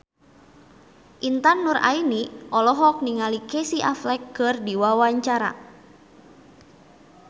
Intan Nuraini olohok ningali Casey Affleck keur diwawancara